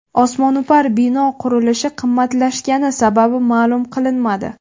Osmono‘par bino qurilishi qimmatlashgani sababi ma’lum qilinmadi.